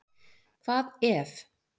Hvað EF?